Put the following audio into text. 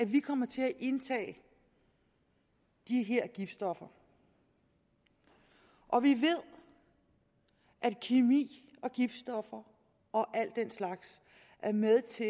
vi kommer til at indtage de her giftstoffer og vi ved at kemi og giftstoffer og al den slags er med til